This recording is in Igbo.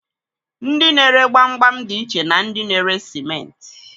Ndi na-ere gbamgbam dị iche na ndị na-ere simenti.